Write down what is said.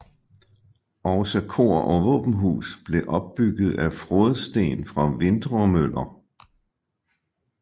Også kor og våbenhus blev opbygget af frådsten fra Vintremøller